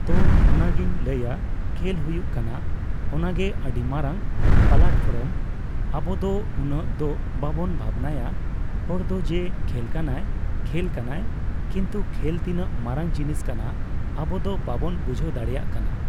ᱛᱳ ᱚᱱᱟᱜᱤᱧ ᱞᱟᱹᱭᱟ ᱠᱷᱮᱞ ᱦᱩᱭᱩᱜ ᱠᱟᱱᱟ ᱚᱱᱟᱜᱮ ᱟᱹᱰᱤ ᱢᱟᱨᱟᱝ ᱯᱟᱞᱟᱴᱯᱷᱚᱨᱚᱢ ᱟᱵᱚᱫᱚ ᱩᱱᱟᱹᱜ ᱫᱚ ᱵᱟᱵᱚᱱ ᱵᱷᱟᱵᱱᱟᱭᱟ ᱦᱚᱲ ᱫᱚ ᱡᱮ ᱠᱷᱮᱞ ᱠᱟᱱᱟᱭ ᱠᱷᱮᱞ ᱠᱟᱱᱟᱭ ᱠᱤᱱᱛᱩ ᱠᱷᱮᱞ ᱛᱤᱱᱟᱹᱜ ᱢᱟᱨᱟᱝ ᱡᱤᱱᱤᱥ ᱠᱟᱱᱟ ᱟᱵᱚᱫᱚ ᱵᱟᱵᱚᱱ ᱵᱩᱡᱷᱟᱹᱣ ᱫᱟᱲᱮᱭᱟᱜ ᱠᱟᱱᱟ ᱾